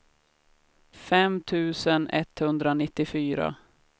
fem tusen etthundranittiofyra